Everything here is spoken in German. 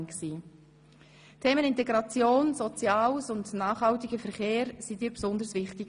Die Themen Integration, Soziales und nachhaltiger Verkehr waren dir besonders wichtig.